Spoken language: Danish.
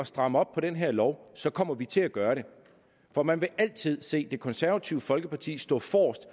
stramme op på den her lov så kommer vi til at gøre det for man vil altid se det konservative folkeparti stå forrest